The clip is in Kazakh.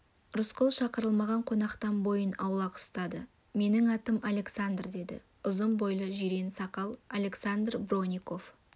рысқұл шақырылмаған қонақтан бойын аулақ ұстады менің атым александр деді ұзын бойлы жирен сақал александр бронников